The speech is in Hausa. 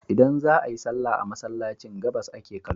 Idan za a yi sallah a Masallacin, gabas ake kallo.